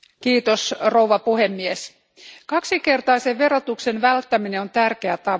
Arvoisa puhemies, kaksinkertaisen verotuksen välttäminen on tärkeä tavoite.